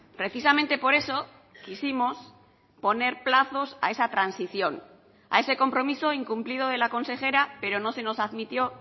precisamente por eso quisimos poner plazos a esa transición a ese compromiso incumplido de la consejera pero no se nos admitió